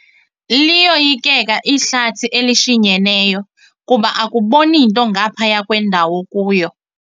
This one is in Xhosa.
Liyoyikeka ihlathi elishinyeneyo kuba akuboni nto ngaphaya kwendawo okuyo.